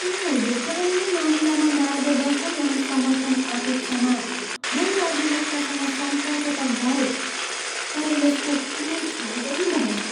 उनीहरूको कानुनी मामिलामा मार्गदर्शन अनि समर्थन अपेक्षामा मैले अधिवक्तासँग सम्पर्क त गरेँ, तर यसको कुनै फाइदै भएन!